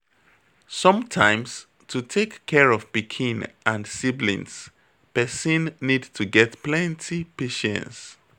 Sometimes to take care of pikin and siblings person need to get plenty patience